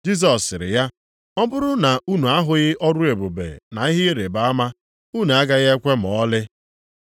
Jisọs sịrị ya, “Ọ bụrụ na unu ahụghị ọrụ ebube na ihe ịrịbama, unu agaghị ekwe ma ọlị.”